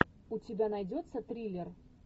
у тебя найдется триллер